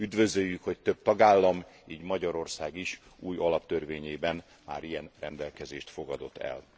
Üdvözöljük, hogy több tagállam, így Magyarország is, új alaptörvényében már ilyen rendelkezést fogadott el.